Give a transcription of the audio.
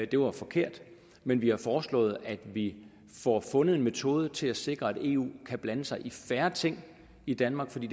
det var forkert men vi har foreslået at vi får fundet en metode til at sikre at eu kan blande sig i færre ting i danmark for det